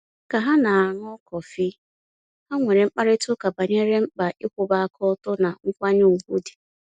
Ka ha na-aṅụ kọfị, ha nwere mkparịtaụka banyere mkpa ịkwụwa aka ọtọ na nkwanye ùgwù dị.